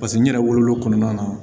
Paseke n yɛrɛ wolo kɔnɔna na